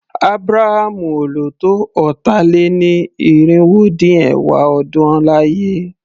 Ábúrámú ò lò tó ọ̀tà-lé-ní-irinwó-dín-ẹ̀wá ọdún láyé.